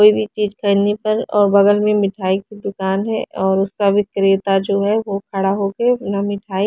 कोई भी चीज करने पर और बगल में मिठाई की दुकान है और उसका विक्रेता जो है वो खड़ा होके अपना मिठाई--